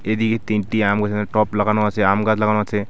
এদিকে তিনটি আম গাছের এখানে টব লাগানো আছে আমগাছ লাগানো আছে ।